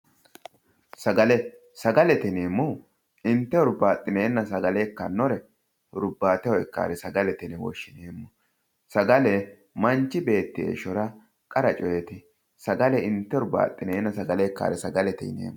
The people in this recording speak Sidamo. Sagale, sagalete yineemmohu inte huribbaxinenna hurbateho ikkanore sagalete yinne woshshineemmo ,sagale manchi beetti heeshshora qara coyiti ,sagale inte hurbaxinenna sagale ikkanore sagalete yineemmo